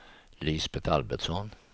Lisbet Albertsson